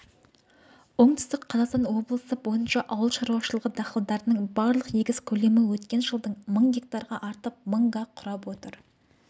оңтүстік қазақстан облысы бойынша ауыл шаруашылығы дақылдарының барлық егіс көлемі өткен жылдан мың гектарға артып мың га құрап отыр